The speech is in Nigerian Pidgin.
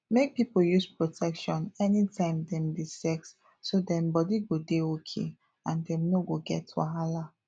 make people use protection anytime dem dey sex so dem body go dey okay and dem no go get wahala